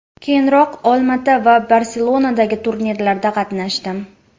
Keyinroq Olmaota va Barselonadagi turnirlarda qatnashdim.